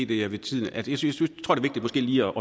det er vigtigt måske lige